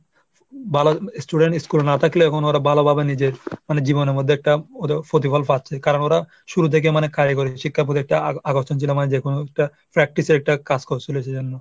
ভালো student school এ না থাকলেও ওরা এখন ভালোভাবে নিজের মানে জীবনের মধ্যে একটা ওদের প্রতিফলন পাচ্ছে। কারণ ওরা শুরু থেকেই মানে কারিগরি শিক্ষার প্রতি একটা আ~ আকর্ষণ ছিল। মানে যে কোন একটা factory র সাথে কাজ করসিল সেজন্য।